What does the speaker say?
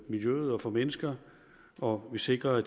miljøet og for mennesker og vi sikrer